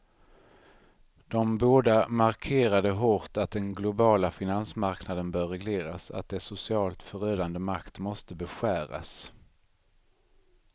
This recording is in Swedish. De båda markerade hårt att den globala finansmarknaden bör regleras, att dess socialt förödande makt måste beskäras.